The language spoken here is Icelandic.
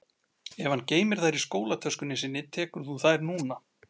Ef hann geymir þær í skólatöskunni sinni tekur þú þær núna